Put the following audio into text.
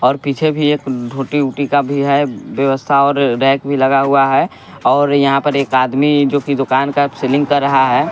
और पीछे भी एक धोटी ऊटी का भी है व्यवस्था और रैक भी लगा हुआ है और यहाँ पर एक आदमी जो कि दुकान का सेलिंग कर रहा है।